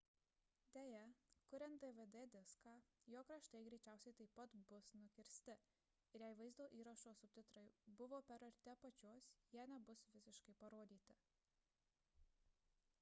deja kuriant dvd diską jo kraštai greičiausiai taip pat bus nukirsti ir jei vaizdo įrašo subtitrai buvo per arti apačios jie nebus visiškai parodyti